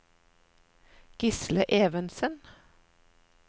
Gisle Evensen